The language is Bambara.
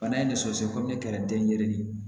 Bana in ne sɔsɔ kɔmi ne kɛra den yerelen de ye